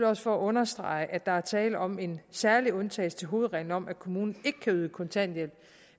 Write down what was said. også for at understrege at der er tale om en særlig undtagelse til hovedreglen om at kommunen ikke kan yde kontanthjælp